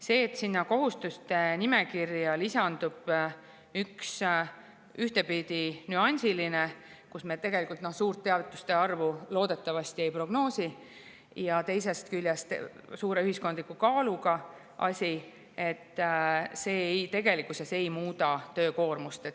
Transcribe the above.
See, et sinna kohustuste nimekirja lisandub üks ühtepidi nüansiline asi – tegelikult me suurt teavituste arvu ei prognoosi – ja teisest küljest suure ühiskondliku kaaluga asi, ei muuda tegelikult töökoormust.